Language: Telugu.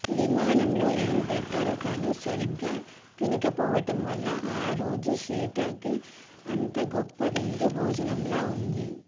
విమానంలో ఏం పెట్టారో కానీ సరిగ్గా తినకపోవటం వల్ల ఆరోజు సీతకి అంతా గొప్ప విందు భోజనంలా వుంది